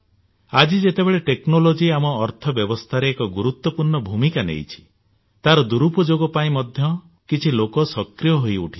ଆଜି ଯେତେବେଳେ ଟେକ୍ନୋଲୋଜି ଆମ ଅର୍ଥ ବ୍ୟବସ୍ଥାରେ ଏକ ଗୁରତ୍ୱପୂର୍ଣ୍ଣ ଭୂମିକା ନେଇଛି ତାର ଦୂରୁପଯୋଗ ପାଇଁ ମଧ୍ୟ କିଛି ଲୋକ ସକ୍ରିୟ ହୋଇ ଉଠୁଛନ୍ତି